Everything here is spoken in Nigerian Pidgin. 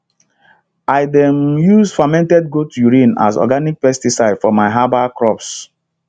i dey um use fermented goat urine as organic pesticide for my herbal crops